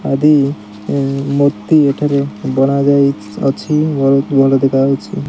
ନଦୀ ମୂର୍ତ୍ତି ଏଠିରେ ଗଢା ଯାଇ ଇ ଅଛି ବହୁତ୍ ଭଲ ଦେଖା ଯାଉଛି।